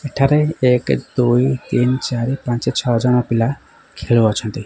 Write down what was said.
ଏଠାରେ ଏକେ ଦୁଇ ତିନି ଚାରି ପାଞ୍ଚ ଛଅ ଜଣ ପିଲା ଖେଳୁଅଛନ୍ତି।